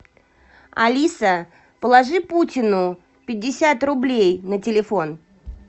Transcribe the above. алиса положи путину пятьдесят рублей на телефон